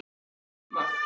Var Drífa?